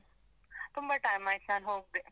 ತುಂಬ time ಆಯ್ತು ನಾನ್ ಹೋಗ್ದೆ.